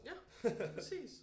Ja præcis